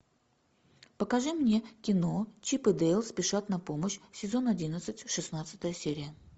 покажи мне кино чип и дейл спешат на помощь сезон одиннадцать шестнадцатая серия